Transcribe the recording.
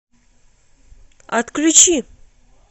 отключи